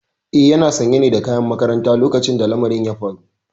Eh yana sanye ne da kayan makaranta lokacin da lamarin ya faru.